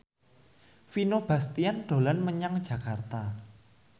Vino Bastian dolan menyang Jakarta